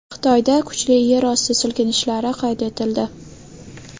Xitoyda kuchli yer osti silkinishlari qayd etildi.